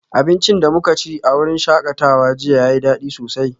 Abincin da muka ci a wurin shakatawa jiya yayi dadi sosai